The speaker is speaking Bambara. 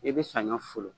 I bɛ saɲɔ folo